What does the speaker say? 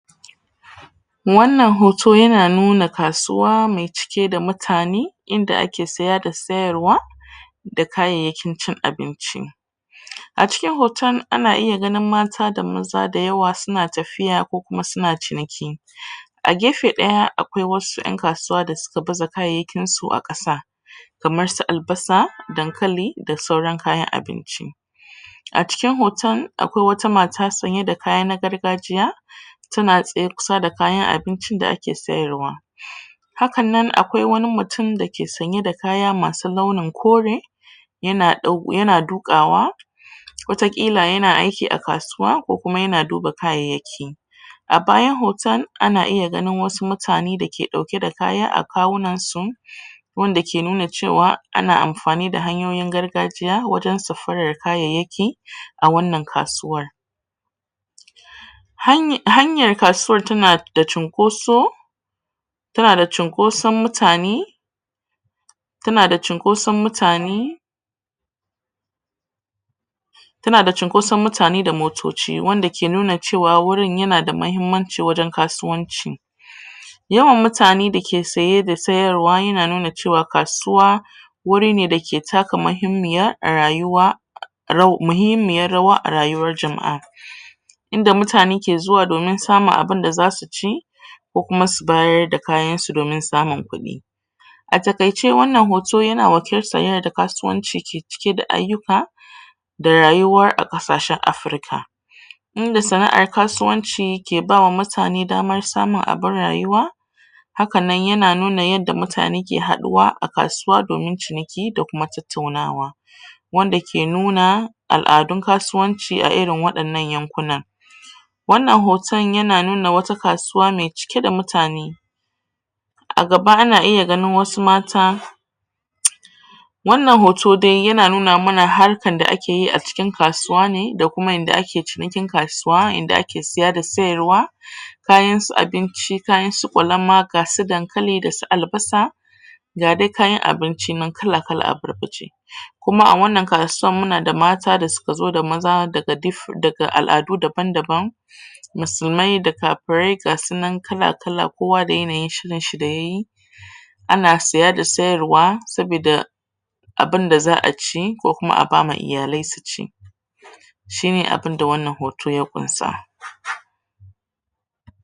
wannan hoto yana nuna kasuwa mai cike da mutane in da ake siya da sayarwa da kayayakin cin abinci a cikin hoton ana iya gani mata da maza da yawa suna tafiya ko kuma suna ciniki a gefe daya akwai wasu 'yan kasuwa da suka baza kayayakin su a kasa kamar su albasa, dankali da sauran kayan abinci a cikin hoton akwai wata mata sunyi da kaya na gargajiya su na tsaye kusa da kayan abinci da suna sayarwa hakannan akwai wani mutum da ke sanye da kaya masu launin kore yana dukawa wata kila ya na aiki a kasuwa ko kuma ya na dub kayayaki a bayan hoton a na iya ganin wasu mutane da ke dauke da kaya a kawunan su wande ke nuna cewa ana amfani da hanyoyi na gargajiya wajen safara kayayaki a wannan kasuwar hanyar kasuwan ta na da cinkoso ta na da cinkoson mutane ta na da cinkoson mutane ta na da cinkoson mutane da motoci wande ke nuna cewar wurin ya na da muhimmanci wajen kasuwanci yawan mutane da ke saye da sayarwa yana nuna cewa kasuwa wuri ne da ke taka muhimmiya rayuwa muhimmiya rawa rayuwar jam'a in da mutane ke zuwa domin samun abinda za su ci ko kuma su bayar da kayan su domin samun kudi a takaice wannan hoto yana da kasuwanci ke cike da ayyuka da rayuwar a kasashen Africa in da sana'an kasuwanci ke bawa mutane damar samun abun rayuwa hakannan yana nuna yadda mutane ke haduwa a kasuwa domin ciniki da kuma tattaunawa wande ke nuna al'adun kasuwanci a irin wadannan yankuna wannan hoton yana nuna wata kasuwa mai cike da mutane a gaba ana iya ganin wasu mata wannan hoto dai yana nuna mana harkn da ake yi a cikin kasuwa ne da kuma yanda ake cinikin kasuwa yanda ake saya da sayarwa kayan su abinci kayan su kwalama ga su dankali da su albasa ga dai kayan abinci nan kala kala abarbace kuma a wannan kasuwan muna da mata da suka zo da maza daga al'adu daban daban musulmai da kafirai gasunan kala kala kowa da yanayin shirin shi da yayi ana siya da sayar wa sobida abin da za'a ci ko kuma a ba ma iyale su ci shi ne wannan hoton ya kunsa